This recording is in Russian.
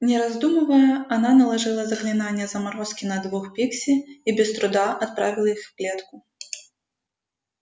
не раздумывая она наложила заклинание заморозки на двух пикси и без труда отправила их в клетку